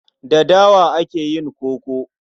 Da dawa ake yin koko.